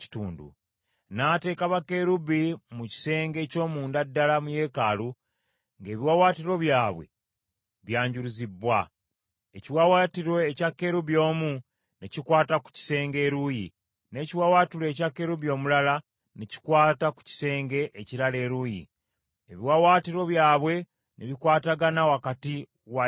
N’ateeka bakerubi mu kisenge eky’omunda ddala mu yeekaalu, ng’ebiwaawaatiro byabwe byanjuluzibbwa. Ekiwaawaatiro ekya kerubi omu ne kikwata ku kisenge eruuyi, n’ekiwaawaatiro ekya kerubi omulala ne kikwata ku kisenge ekirala eruuyi, ebiwaawaatiro byabwe ne bikwatagana wakati wa yeekaalu.